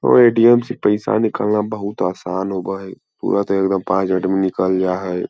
और ऐ.टी.एम. से पैसा निकालना बहुत आसान होबे हय पुरा त एकदम पांच मिनट में निकल जाए हय।